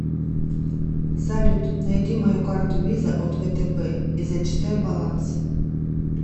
салют найди мою карту виза от втб и зачитай баланс